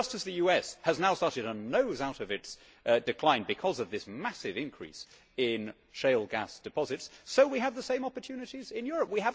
Just as the US has now started to nose out of its decline because of this massive increase in shale gas deposits, so we have the same opportunities in Europe.